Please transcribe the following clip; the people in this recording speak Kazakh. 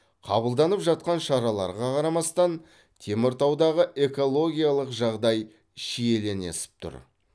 қабылданып жатқан шараларға қарамастан теміртаудағы экологиялық жағдай шиеленісіп тұр